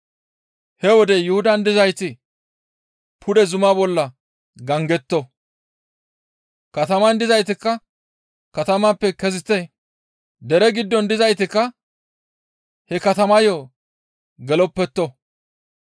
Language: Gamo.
He wode Yuhudan dizayti pude zuma bolla gangetto; kataman dizaytikka katamappe kezite; dere giddon dizaytikka he katamayo geloppetto.